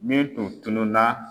Min tun tunun na.